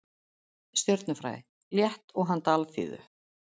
Stjörnufræði, létt og handa alþýðu.